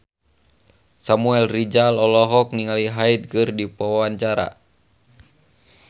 Samuel Rizal olohok ningali Hyde keur diwawancara